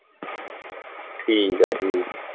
ਠੀਕ ਹੈ ਠੀਕ।